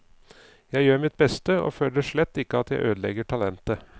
Jeg gjør mitt beste og føler slett ikke at jeg ødelegger talentet.